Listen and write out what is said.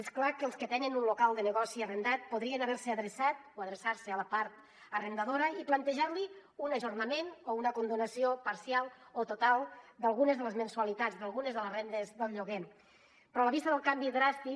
és clar que els que tenen un local de negoci arrendat podrien haver se adreçat o adreçar se a la part arrendadora i plantejar li un ajornament o una condonació parcial o total d’algunes de les mensualitats d’algunes de les rendes del lloguer però a la vista del canvi dràstic